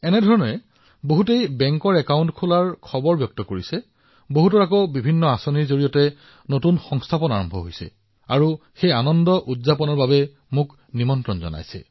একেদৰে যদি কোনোবাই বেংক একাউণ্ট খোলাৰ আনন্দ ভাগ বতৰা কৰে কোনোবাই মোক বিভিন্ন আঁচনিৰ সহায়ত যদি নতুন ৰোজগাৰ লাভ কৰে তেতিয়া তেওঁলোকে নিজৰ আনন্দত মোকো আমন্ত্ৰণ জনায়